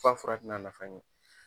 K'a fura ti na nafa ɲɛ